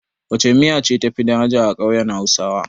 Wacce miya ce tafi daraja a ƙauyen hausawa?